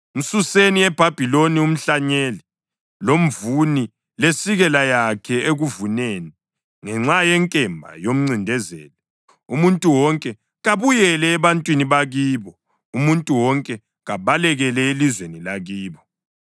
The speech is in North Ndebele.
Msuseni eBhabhiloni umhlanyeli, lomvuni lesikela yakhe ekuvuneni. Ngenxa yenkemba yomncindezeli, umuntu wonke kabuyele ebantwini bakibo; umuntu wonke kabalekele elizweni lakibo.